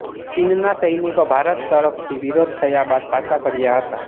ચીનના સૈનિકો ભારત તરફથી વિરોધ થયા બાદ પાછા ફર્યા હતા